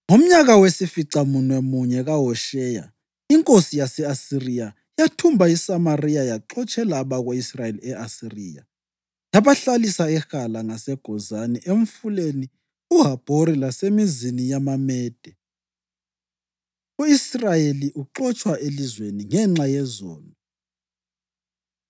Ngomnyaka wesificamunwemunye kaHosheya, inkosi yase-Asiriya yathumba iSamariya yaxotshela abako-Israyeli e-Asiriya. Yabahlalisa eHala, ngaseGozani eMfuleni uHabhori lasemizini yamaMede. U-Israyeli Uxotshwa Elizweni Ngenxa Yezono